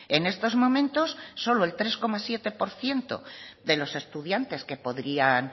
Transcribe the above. en estos momentos solo el tres coma siete por ciento de los estudiantes que podrían